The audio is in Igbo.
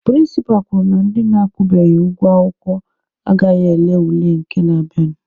Prịnsịpa kwuru na ndị akwụbeghị ụgwọ akwụkwọ agaghị ele ule nke na-abịanụ.